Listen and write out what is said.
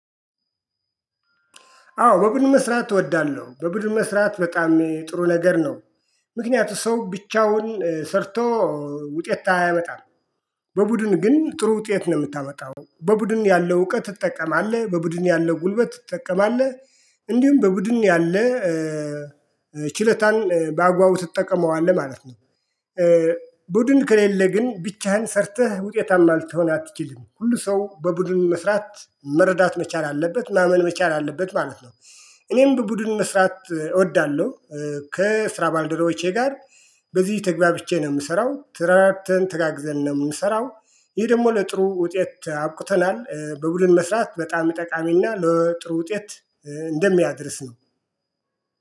አዎ በቡድን መስራት እወዳለሁ በቡድን መስራት በጣም ጥሩ ነገር ነው። ምክንያቱ ሰው ብቻውን ሰርቶ ውጤት አያመጣም። በቡድን ግን ጥሩ ውጤት ነው ምታመጣው በቡድን ያለው እውቀት ትጠቀማለህ በቡድን ያለው ጉልበት ትጠቀማለህ እንዲሁም በቡድን ያለ ችሎታን ባግባቡ ትጠቀመዋለህ ማለት ነው። ቡድን ከሌለ ግን ብቻህን ሰርተህ ውጤታማ ልትሆን አትችልም ሁሉ ሰው በቡድን መስራት መረዳት መቻል አለበት ማመን መቻል አለበት ማለት ነው። እኔም በቡድን መስራት እወዳለሁ። ከስራ ባልደረቦቼ ጋር። በዚህ ተግባብቼ ነው ምሰራው ትረዳድተን ተጋግዘን ነው ምሰራው። ይህ ደሞ ለጥሩ ውጤት አብቁተናል በብቡድን መስራት በጣም ጠቃሚና ለጥሩ ውጤት እንደሚያድርስ ነው